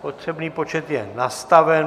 Potřebný počet je nastaven.